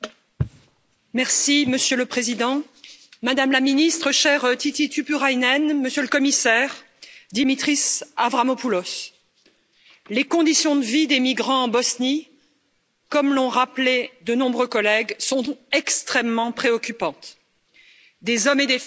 Monsieur le Président, Madame la Ministre, chère Tytti Tuppurainen, Monsieur le Commissaire Dimitris Avramopoulos, les conditions de vie des migrants en Bosnie comme l'ont rappelé de nombreux collègues sont extrêmement préoccupantes des hommes, des femmes et des enfants vivent